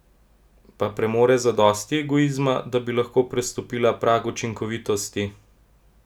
Pa premore zadosti egoizma, da bi lahko prestopila prag učinkovitosti?